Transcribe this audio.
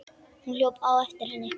Hún hljóp á eftir henni.